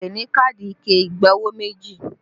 O lè ní káàdì ike igbowó méjì